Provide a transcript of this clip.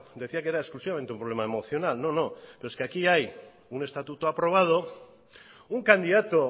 decía que era exclusivamente un problema emocional no no pero es que aquí hay un estatuto aprobado un candidato